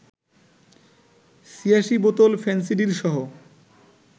৮৬ বোতল ফেনসিডিলসহ